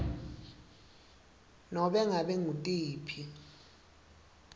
nobe ngabe ngutiphi